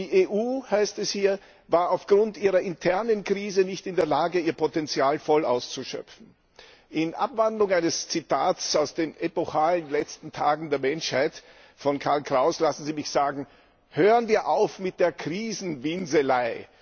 Die EU, heißt es hier, war aufgrund ihrer internen Krise nicht in der Lage, ihr Potenzial voll auszuschöpfen. In Abwandlung eines Zitats aus den epochalen Letzten Tagen der Menschheit von Karl Kraus lassen Sie mich sagen Hören wir auf mit der Krisenwinselei!